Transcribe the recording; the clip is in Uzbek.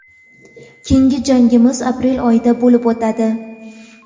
Keyingi jangimiz aprel oyida bo‘lib o‘tadi.